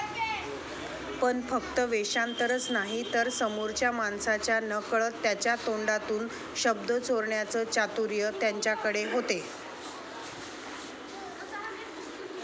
पण फक्त वेषांतरच नाही तर समोरच्या माणसाच्या नकळत त्याच्या तोंडातून शब्द चोरण्याचं चातुर्य त्यांच्याकडे होते.